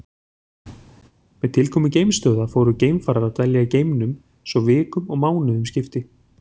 Með tilkomu geimstöðva fóru geimfarar að dvelja í geimnum svo vikum og mánuðum skipti.